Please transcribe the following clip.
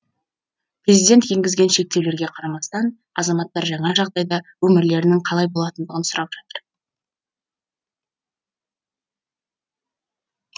президент енгізген шектеулерге қарамастан азаматтар жаңа жағдайда өмірлерінің қалай болатындығын сұрап жатыр